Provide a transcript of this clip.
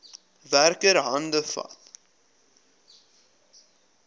werker hande vat